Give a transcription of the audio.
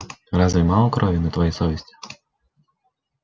разве мало крови на твоей совести